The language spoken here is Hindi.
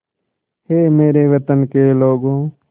ऐ मेरे वतन के लोगों